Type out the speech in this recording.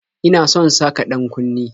Ina son saka ɗan-kunne